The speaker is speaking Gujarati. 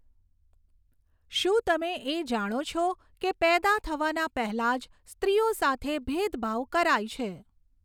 શું તમે એ જાણો છો કે પેદા થવાના પહેલાં જ સ્ત્રીઓ સાથે ભેદભાવ કરાય છે.